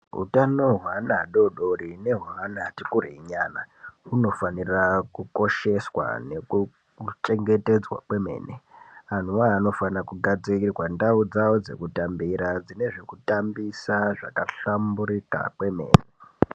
Utano hweana adodori nehwaana ati kurei nyana hunofanira kukosheswa nekuchengetedzwa kwemene anhuwawo anofanira kugadzirirwa ndau dzawo dzekutambira dzine zvekutambisa zvakahlamburika kwemene.